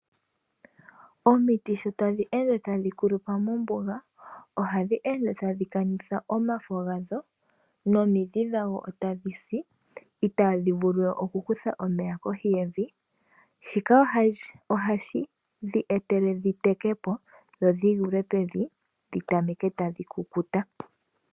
Omiti sho tadhi ende tadhi kulupa mombuga, ohadhi kanitha omafo gadho niitayi tayi si. Ohadhi vulu wo oku kutha omeya kohi yevi. Shika ohashi eta dhi teke po etadhi kukuta.